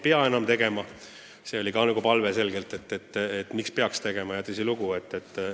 Neid ei pea siiski enam esitama – palve, miks ei peaks neid esitama, oli selge ja tõsilugu, nii jõudsimegi kokkuleppele.